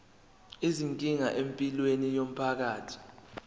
izinkinga empilweni yomphakathi